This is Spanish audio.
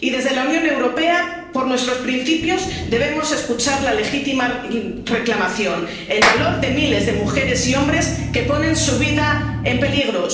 Y desde la Unión Europea, por nuestros principios, debemos escuchar la legítima reclamación, el valor de miles de mujeres y hombres que ponen su vida en peligro.